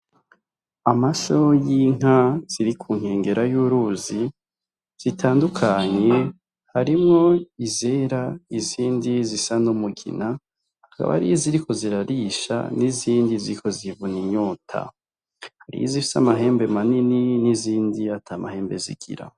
Amasho y'inka ziri ku nkengera y'uruzi zitandukanye harimwo izera n'izindi zisa n'umugina, hakaba hariho iziriko zirarisha n'izindi ziriko zivuna inyota. N'izifis'amahembe manini n'izindi ata mahembe zigira.